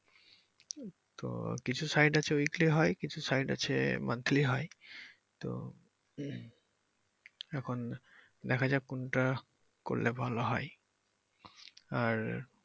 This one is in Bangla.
তো কিছু site আছে weekly হয় কিছু site আছে monthly হয় তো এখন দেখা যাক কোনটা করলে ভালো হয় আর।